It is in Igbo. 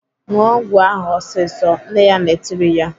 "ṅụọ ọgwụ ahụ ọsịsọ!" Nne ya na-etiri ya.